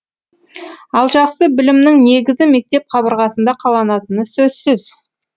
ал жақсы білімнің негізі мектеп қабырғасында қаланатыны сөзсіз